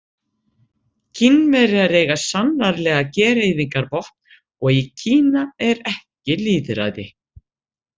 Kínverjar eiga sannanlega gereyðingarvopn og í Kína er ekki lýðræði.